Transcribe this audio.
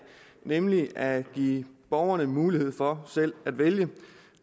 nemlig at give borgerne mulighed for selv at vælge